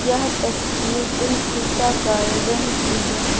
यह तस्वीर Dilkusha garden की है।